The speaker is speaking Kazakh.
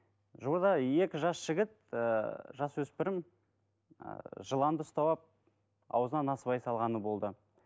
жуырда екі жас жігіт ііі жасөспірім ііі жыланды ұстап алып аузына насыбай салғаны болды